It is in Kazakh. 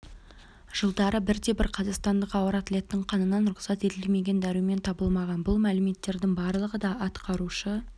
жылдары бірде-бір қазақстандық ауыр атлеттің қанынан рұқсат етілмеген дәрумен табылмаған бұл мәліметтердің барлығы да атқарушы